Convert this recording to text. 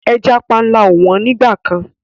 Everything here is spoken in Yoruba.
Ẹja panla ò wọ́n nígbà kan.